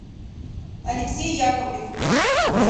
алексей яковлев